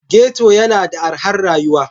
Ghetto yana da arhar rayuwa.